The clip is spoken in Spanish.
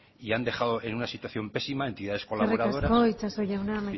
y han dejado en una situación pésima entidades colaboradoras eskerrik asko itxaso jauna amaitu